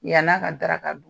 Yann'a ka daraka dun